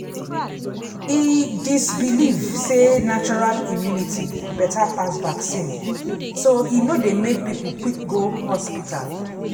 e dis believe sey natural immunity better pass vaccine so e no dey make people quick go hospital.